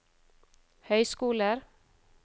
høyskoler